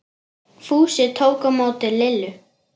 Fúsi tók á móti Lillu.